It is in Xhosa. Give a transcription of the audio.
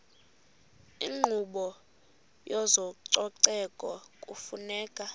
inkqubo yezococeko kufuneka